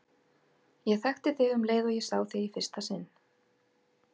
Ég þekkti þig um leið og ég sá þig í fyrsta sinn.